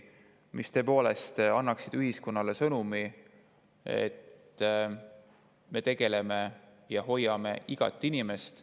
Need tõepoolest annaksid ühiskonnale sõnumi, et me tegeleme ja hoiame igat inimest.